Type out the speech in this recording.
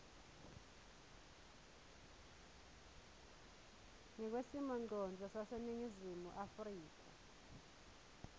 ngekwesimongcondvo saseningizimu afrika